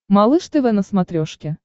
малыш тв на смотрешке